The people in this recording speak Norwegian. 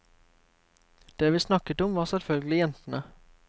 Det vi snakket om var selvfølgelig jentene.